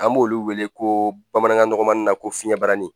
An b'olu wele ko bamanankan nɔgɔmani na ko fiɲɛbarani